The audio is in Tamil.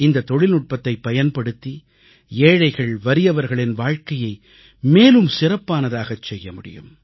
இந்தத் தொழில்நுட்பத்தைப் பயன்படுத்தி ஏழைகள் வறியவர்களின் வாழ்க்கையை மேலும் சிறப்பானதாகச் செய்யமுடியும்